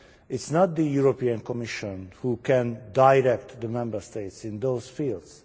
It is not the European Commission that can direct the Member States in those fields.